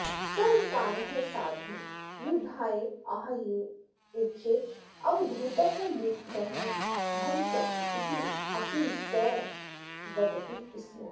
सर्वकारः साधून् युद्धाय आह्वयेच्चेत् अवधूतः मुखरः भविष्यति इत्यपि सः वदति स्म